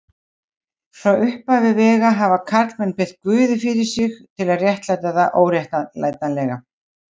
Frá upphafi vega hafa karlmenn beitt guði fyrir sig til að réttlæta það óréttlætanlega.